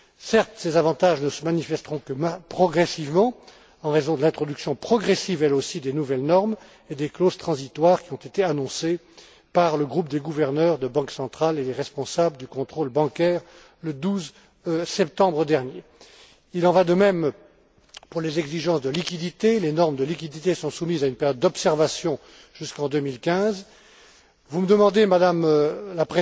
Certes, ces avantages ne se manifesteront que progressivement en raison de l'introduction progressive, elle aussi, des nouvelles normes et des clauses transitoires qui ont été annoncées par le groupe des gouverneurs des banques centrales et les responsables du contrôle bancaire, le 12 septembre dernier. Il en va de même pour les exigences de liquidités. Les normes de liquidités sont soumises à une période d'observation jusqu'en 2015. Vous me demandez, Madame Kratsa Tsagaropoulou,